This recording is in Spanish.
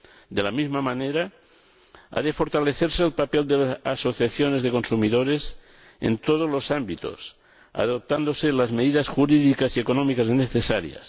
De la misma manera, ha de fortalecerse el papel de las asociaciones de consumidores en todos los ámbitos, adoptándose las medidas jurídicas y económicas necesarias.